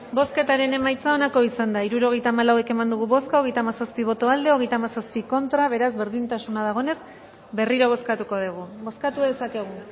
bozketaren emaitza onako izan da hirurogeita hamalau eman dugu bozka hogeita hamazazpi boto aldekoa treinta y siete contra beraz berdintasuna dagoenez berriro bozkatuko dugu bozkatu dezakegu